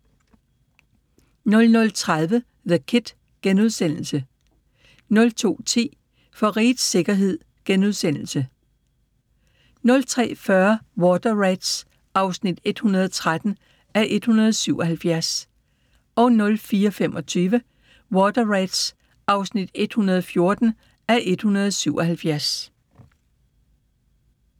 00:30: The Kid * 02:10: For rigets sikkerhed * 03:40: Water Rats (113:177) 04:25: Water Rats (114:177)